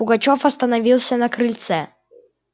пугачёв остановился на крыльце